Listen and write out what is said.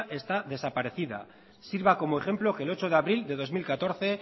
está desaparecida sirva como ejemplo que el ocho de abril de dos mil catorce